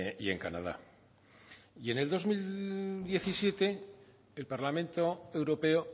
y en canadá y en el dos mil diecisiete el parlamento europeo